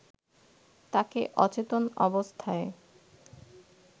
তাকে অচেতন অবস্থায়